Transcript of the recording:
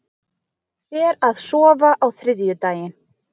Fer að sofa á þriðjudaginn